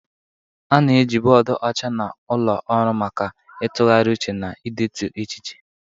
A na-eji bọọdụ ọcha na ụlọ ọrụ maka ịtụgharị uche na idetu echiche.